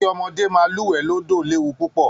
Kí ọmọdé máa lúwẹ̀ẹ́ lódò léwù púpọ̀